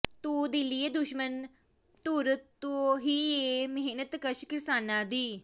ਤੂੰ ਦਿੱਲੀਏ ਦੁਸ਼ਮਣ ਧੁਰ ਤੋਂ ਹੀ ਏਂ ਮਿਹਨਤਕਸ਼ ਕਿਰਸਾਨਾਂ ਦੀ